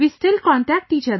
We still contact each other